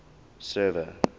server